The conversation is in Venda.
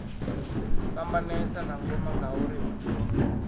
fhambanesa na ngoma ngauri hu